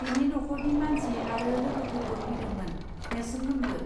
बिनि न'खरनि मानसि आरो लोगोफोरबो फैदोंमोन नेर्सोनमोनबो.